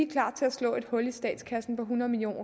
klar til at slå et hul i statskassen på hundrede million